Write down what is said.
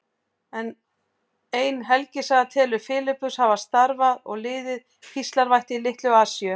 Ein helgisaga telur Filippus hafa starfað og liðið píslarvætti í Litlu-Asíu.